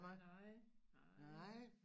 Nej nej